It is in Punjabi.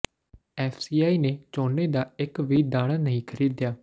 ਐਫ਼ਸੀਆਈ ਨੇ ਝੋਨੇ ਦਾ ਇੱਕ ਵੀ ਦਾਣਾ ਨਹੀਂ ਖ਼ਰੀਦਿਆ